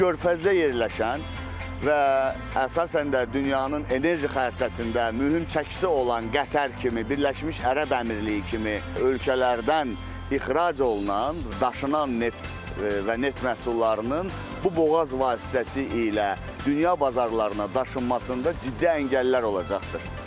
Körfəzdə yerləşən və əsasən də dünyanın enerji xəritəsində mühüm çəkisi olan Qətər kimi Birləşmiş Ərəb Əmirliyi kimi ölkələrdən ixrac olunan daşınan neft və neft məhsullarının bu boğaz vasitəsilə dünya bazarlarına daşınmasında ciddi əngəllər olacaqdır.